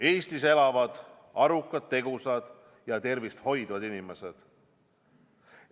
Eestis elavad arukad, tegusad ja tervist hoidvad inimesed.